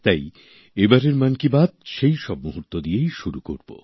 তাই এবারের মন কি বাত সেইসব মুহূর্ত দিয়েই শুরু করব